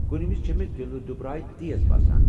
کُنہِ وز چھے٘ مےٚ دلہٕ دُبراے تیز باسان ۔